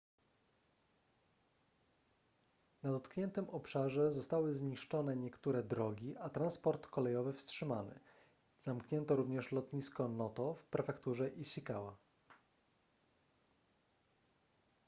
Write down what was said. na dotkniętym obszarze zostały zniszczone niektóre drogi a transport kolejowy wstrzymany zamknięto również lotnisko noto w prefekturze ishikawa